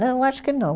Não, acho que não.